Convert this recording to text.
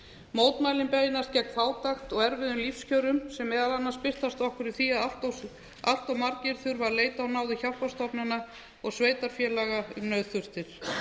mótmælin beinast gegn fátæk og erfiðum lífskjörum sem meðal annars birtast okkur í því að allt margir þurfa að leita á náðir hjálparstofnana og sveitarfélaga um nauðþurftir